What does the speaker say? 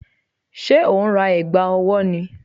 Ṣé o ń ra ẹ̀gbà ọwọ́ ni?